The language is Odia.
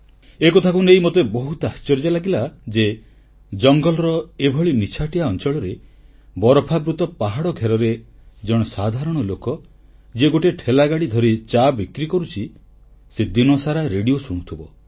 ଏକଥାକୁ ନେଇ ମୋତେ ବହୁତ ଆଶ୍ଚର୍ଯ୍ୟ ଲାଗିଲା ଯେ ଜଙ୍ଗଲର ଏଭଳି ନିଛାଟିଆ ଅଂଚଳରେ ବରଫାବୃତ ପାହାଡ଼ ଘେରରେ ଜଣେ ସାଧାରଣ ଲୋକ ଯିଏ ଗୋଟିଏ ଠେଲାଗାଡ଼ି ଧରି ଚା ବିକ୍ରି କରୁଛି ସେ ଦିନସାରା ରେଡ଼ିଓ ଶୁଣୁଥିବ